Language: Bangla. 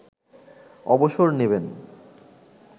অবসর নেবেন